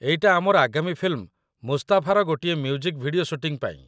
ଏଇଟା ଆମର ଆଗାମୀ ଫିଲ୍ମ 'ମୁସ୍ତାଫା'ର ଗୋଟେ ମ୍ୟୁଜିକ୍ ଭିଡିଓ ଶୁଟିଂ ପାଇଁ ।